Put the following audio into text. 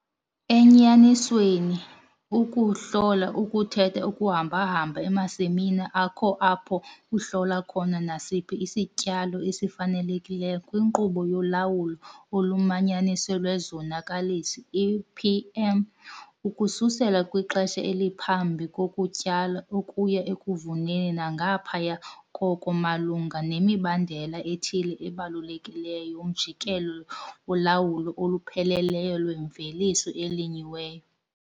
Enyanisweni ukuhlola ukuthetha ukuhamba-hamba emasimini akho apho uhlola khona nasiphi isityalo esifanelekileyo kwinkqubo yoLawulo oluManyanisiweyo lweZonakalisi, IPM, ukususela kwixesha eliphambi kokutyala ukuya ekuvuneni nangaphaya koko malunga nemibandela ethile ebalulekileyo yomjikelo wolawulo olupheleleyo lwemveliso elinyiweyo.